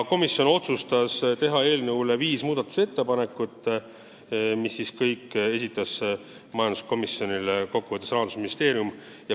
Komisjon otsustas teha eelnõu muutmiseks viis ettepanekut, mis kõik esitas majanduskomisjonile Rahandusministeerium.